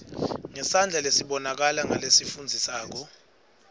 ngesandla lesibonakalako nalesifundzekako